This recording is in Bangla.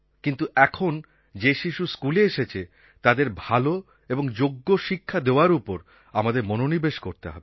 কিন্তু এখন যে শিশু স্কুলে এসেছে তাদের ভাল এবং যোগ্য শিক্ষা দেওয়ার ওপর আমাদের মনোনিবেশ করতে হবে